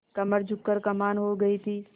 कमर झुक कर कमान हो गयी थी